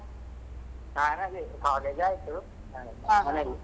ನಾನ್ ಅದೇ college ಆಯ್ತು ಮನೇಲಿ.